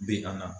Bi a na